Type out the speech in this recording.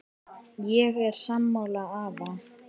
Ég er sammála afa.